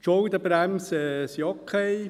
Die Schuldenbremse ist okay.